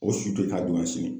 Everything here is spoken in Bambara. O si to ye k'a